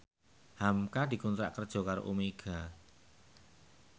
hamka dikontrak kerja karo Omega